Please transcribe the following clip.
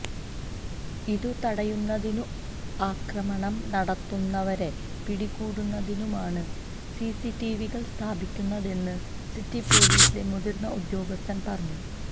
ഇതു തടയുന്നതിനും ആക്രമണം നടത്തുന്നവരെ പിടികൂടുന്നതിനുമായാണ് സിസിടിവികൾ സ്ഥാപിക്കുന്നതെന്ന് സിറ്റി പൊലീസിലെ മുതിർന്ന ഉദ്യോഗസ്ഥൻ പറഞ്ഞു